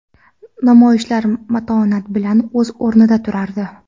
Namoyishchilar matonat bilan o‘z o‘rniida turardi.